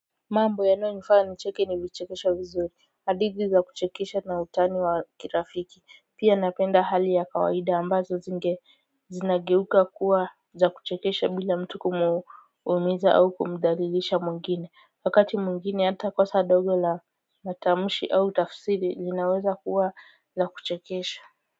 Mambo yanayonifanya nicheke ni vichekesho vizuri hadithi za kuchekesha na utani wa kirafiki pia napenda hali ya kawaida ambazo zinge zinageuka kuwa za kuchekesha bila mtu kumuumiza au kumdhalilisha mwingine wakati mwingine hata kosa dogo la matamshi au tafsiri linaweza kuwa za kuchekesha.